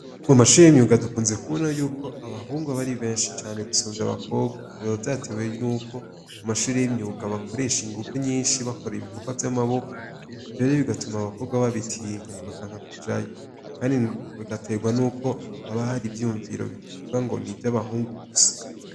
Mu mashure y'imyuga dukunze kubona yuko abahungu aba ari benshi cane gusumvya abakorwa, biba vyatewe n'uko mu mashuri y'imyuga bakoresha inguvu nyinshi bakora ibikorwa vy'amaboko, ivyo rero bigatuma abakobwa babitinya bakanka kujayo, kandi bigaterwa n'uko haba hari ivyiyumviro bivuga ngo ni ivy'abahungu gusa.